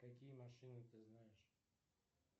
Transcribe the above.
какие машины ты знаешь